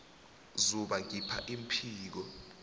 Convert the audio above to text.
zuba ngiph iimpiko